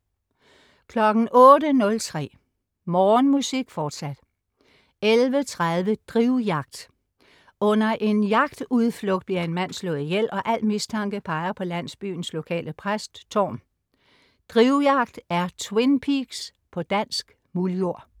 08.03 P2 Morgenmusik, fortsat 11.30 Drivjagt. Under en jagtudflugt bliver en mand slået ihjel, og al mistanke peger på landsbyens lokale præst Thorm. "Drivjagt" er "Twin Peaks" på dansk muldjord